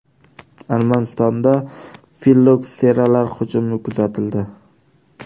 Armanistonda fillokseralar hujumi kuzatildi.